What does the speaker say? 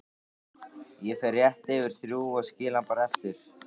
Ég fer rétt fyrir þrjú og skil hann bara eftir